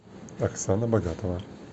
оксана богатова